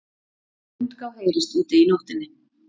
Hundgá heyrist úti í nóttinni.